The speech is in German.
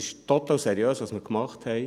Was wir gemacht haben, ist total seriös.